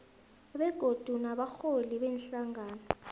begodu nabarholi beenhlangano